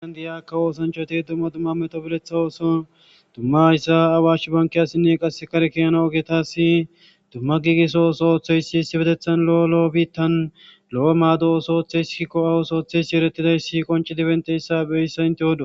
aan di7aakka oosanchoti dumma dumma meto buletha ooso dumma ayssa awash banki asinne qasse kare kiyana oge taasi dumma giigiso oso ooththo yssi issi betethan lo7o lo7o biittan lo7o maado oso ooththe isskikko awoso ooththe yssi erettidayssi qonci dibenteyssa beyssa inte odo